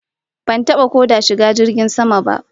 Ban taba ko da shiga jirgin sama ba